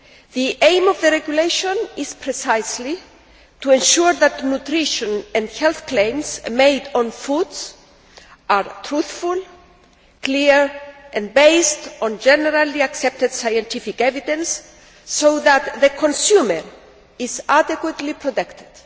The aim of the Regulation is precisely to ensure that nutrition and health claims made on foods are truthful, clear and based on generally accepted scientific evidence, so that the consumer is adequately protected.